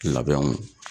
Labɛnw